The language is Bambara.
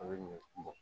A bɛ ɲɔ kun bɔ